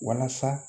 Walasa